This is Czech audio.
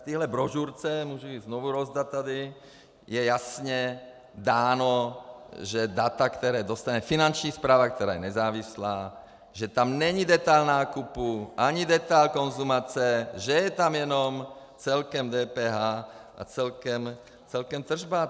V tohle brožurce, můžu ji znovu rozdat tady, je jasně dáno, že data, která dostane Finanční správa, která je nezávislá, že tam není detail nákupu ani detail konzumace, že je tam jenom celkem DPH a celkem tržba.